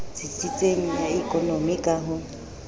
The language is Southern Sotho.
tsitsitseng ya ekonomi ka ho